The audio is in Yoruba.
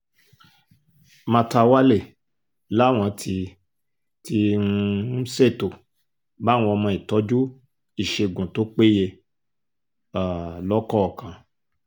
màtáwalle làwọn ti ti um ṣètò báwọn ọmọ ìtọ́jú ìṣègùn tó péye um lọ́kọ̀ọ̀kan